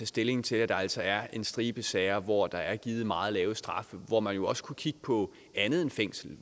stilling til at der altså er en stribe sager hvor der er givet meget lave straffe og hvor man jo også kunne kigge på andet end fængsel